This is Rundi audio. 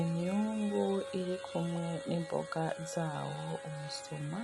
Imyungu iri kumwe n'imboga zawo umusoma,